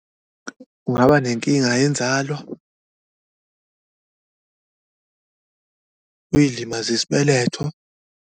Ungaba nenkinga yenzalo, uyilimaze isibeletho.